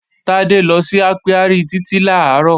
Tádé lọ sí ápíárì Títí làárọ̀